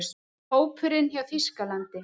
Hópurinn hjá Þýskalandi: